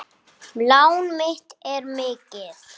Lán mitt er mikið.